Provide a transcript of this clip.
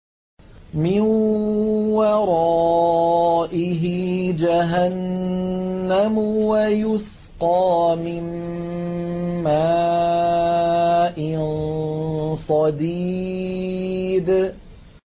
مِّن وَرَائِهِ جَهَنَّمُ وَيُسْقَىٰ مِن مَّاءٍ صَدِيدٍ